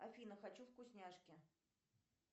афина хочу вкусняшки